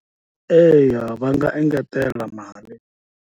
Eya va nga engetela mali.